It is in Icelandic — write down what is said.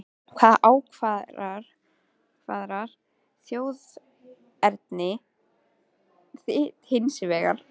Hvað ákvarðar þjóðerni þitt hins vegar?